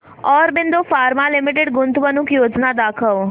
Aurobindo pharma limited गुंतवणूक योजना दाखव